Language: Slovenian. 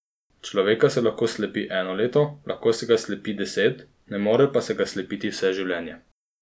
Človeka se lahko slepi eno leto, lahko se ga slepi deset, ne more pa se ga slepiti vse življenje.